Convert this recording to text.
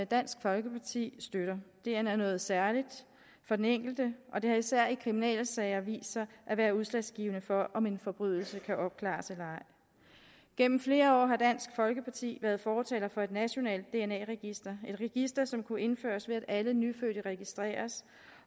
dansk folkeparti støtter dna er noget særligt for den enkelte og det har især i kriminalsager vist sig at være udslagsgivende for om en forbrydelse kan opklares eller ej gennem flere år har dansk folkeparti været fortaler for et nationalt dna register et register som kunne indføres ved at alle nyfødte registreres